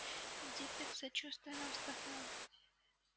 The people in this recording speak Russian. диппет сочувственно вздохнул